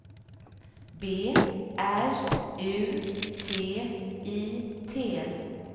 B R U T I T